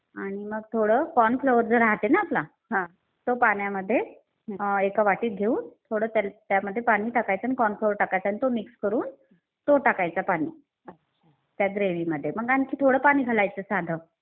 आणि मग थोडं कॉर्न फ्लोअर जे राहते ना आपलं तो पाण्यामध्ये एका वाटीत घेऊन थोडं त्यामध्ये पाणी टाकायचं, कॉर्न फ्लोअर टाकायचं आणि तो मिक्स करून तो टाकायचा पाणी त्या ग्रेव्हीमध्ये मग आणखी थोडं पाणी घालायचं साधं.